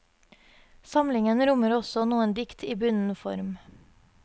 Samlingen rommer også noen dikt i bunden form.